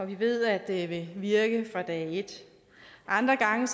vi ved at det vil virke fra dag et andre gange